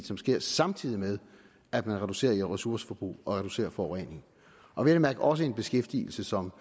som sker samtidig med at man reducerer ressourceforbruget og reducerer forureningen og vel at mærke også en beskæftigelse som